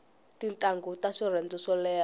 tintangu ta swirhenze swo leha